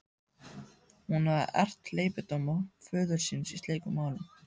Hún hafði erft hleypidóma föður síns í slíkum málum.